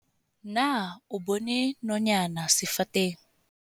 Na o bona nonyana sefateng?